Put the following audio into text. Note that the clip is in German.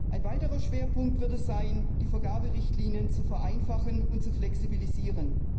Ein weiterer Schwerpunkt wird sein, die Vergaberichtlinien zu vereinfachen und zu flexibilisieren.